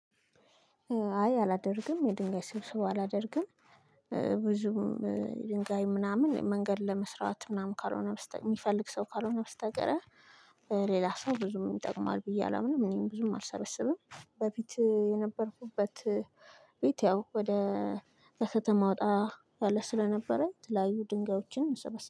አይ አላደርግም የድንጋይ ስብስብ አላደርግም። ብዙም ድንጋይ ምናምን መንገድ ለመስራት ምናምን ካልሆነ የሚፈልግ ሰው ካልሆነ ብስተቀረ ሌላ ሰው ብዙም ይጠቅማል ብዬ አላምንም። እኔም ብዙም አልሰበሰብም። በፊት የነበርኩበት ቤት ያው ወደ ከከተማ ወጣ ያለ ስለነበረ የተለያዩ ድንጋዮችን መሰበሰብ